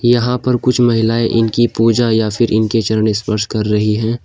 यहां पर कुछ महिलाएं इनकी पूजा या फिर इनके चरण स्पर्श कर रही हैं।